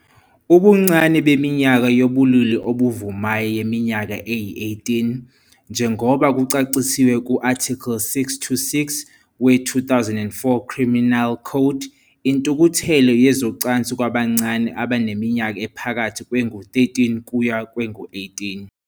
Ubuncane beminyaka yobulili obuvumayo yiminyaka eyi-18, njengoba kucacisiwe ku-Article 626 we-2004 Criminal Code - intukuthelo yezocansi kwabancane abaneminyaka ephakathi kwengu-13 kuya kwengu-18.